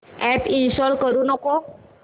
app install करू नको